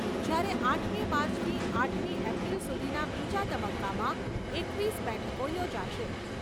જ્યારે આઠમી માર્ચથી આઠમી એપ્રિલ સુધીના બીજા તબક્કામાં એકવીસ બેઠકો યોજાશે